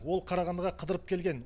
ол қарағандыға қыдырып келген